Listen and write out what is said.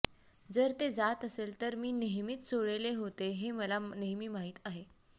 जर ते जात असेल तर मी नेहमीच चोळलेले होते हे मला नेहमी माहित आहे